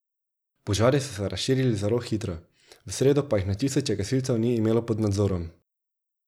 Požari so se razširili zelo hitro, v sredo pa jih na tisoče gasilcev ni imelo pod nadzorom.